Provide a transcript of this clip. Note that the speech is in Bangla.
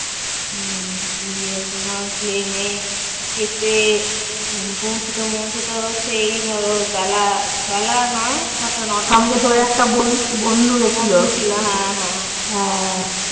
উম গিয়ে তোমার plane এ চেপে পৌঁছেতে পৌঁছেতে হচ্ছে এই ধরো বেলা বেলা নয় কটা? নয়টা বন্ধু ছিল হ্যাঁ হ্যাঁ।